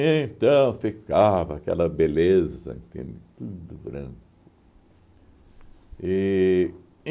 ficava aquela beleza, entende? Tudo branco. E